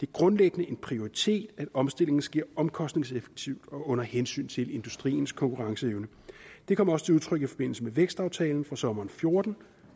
grundlæggende en prioritet at omstillingen sker omkostningseffektivt og under hensyn til industriens konkurrenceevne det kom også til udtryk i forbindelse med vækstaftalen fra sommeren fjorten